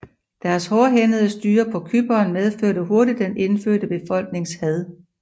Deres hårdhændede styre på Cypern medførte hurtigt den indfødte befolknings had